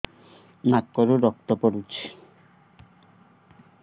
ନାକରୁ ରକ୍ତ ପଡୁଛି